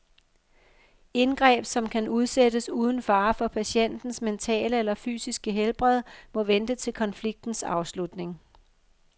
Indgreb, som kan udsættes uden fare for patientens mentale eller fysiske helbred, må vente til konfliktens afslutning.